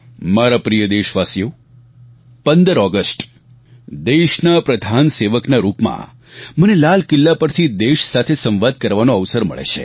મારા પ્રિય દેશવાસીઓ 15 ઓગસ્ટ દેશના પ્રધાન સેવકના રૂપમાં મને લાલ કિલ્લા પરથી દેશ સાથે સંવાદ કરવાનો અવસર મળે છે